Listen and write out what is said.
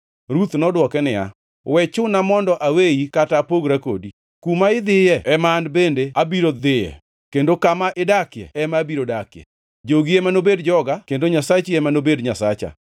Ruth nodwoke niya “We chuna mondo aweyi kata apogra kodi. Kuma idhiyo ema an bende abiro dhiye, kendo kama idakie ema abiro dakie. Jogi ema nobed joga kendo Nyasachi ema nobed Nyasacha.